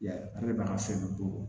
Ya ale b'a ka sɛbɛn bɔ